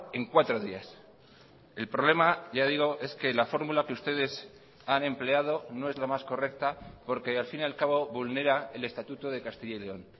en cuatro días el problema ya digo es que la fórmula que ustedes han empleado no es la más correcta porque al fin y al cabo vulnera el estatuto de castilla y león